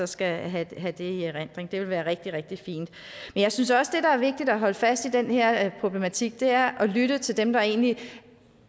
skal have i erindring det vil være rigtig rigtig fint men jeg synes også at det der er vigtigt at holde fast i den her problematik er at lytte til dem der egentlig